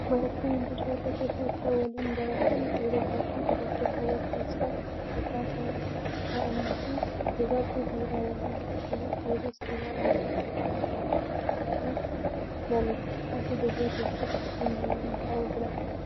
Barattoonni daree tokko keessa waliin baratan dhiirotaa fi dubaroota wal keessa makaa kan ta'anii fi dubarri dhiira waliin akkasumas dhiirris dubara waliin taa'uu malu. Ati daree keessatti eenyu waliin taa'uu filatta?